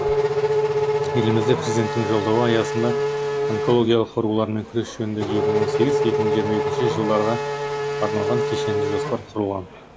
елімізде президенттің жолдауы аясында онкологиялық аурулармен күрес жөніндегі екі мың он сегіз екі мың жиырма екінші жылдарға арналған кешенді жоспар құрылған